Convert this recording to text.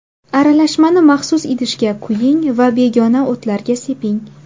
Aralashmani maxsus idishga quying va begona o‘tlarga seping.